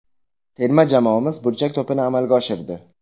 Terma jamoamiz burchak to‘pini amalga oshirdi.